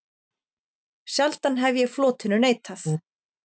Sjaldan hef ég flotinu neitað.